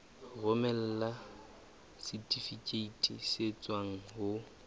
romela setifikeiti se tswang ho